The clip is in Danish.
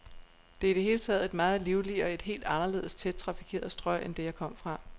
Det er i det hele taget et meget livligere, et helt anderledes tæt trafikeret strøg end det, jeg kom fra.